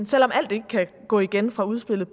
selv om alt ikke kan gå igen fra udspillet